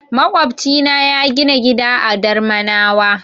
Maƙwofcina ya gina gida a Darmanawa.